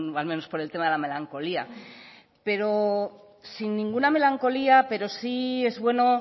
al menos por el tema de la melancolía pero sin ninguna melancolía pero sí es bueno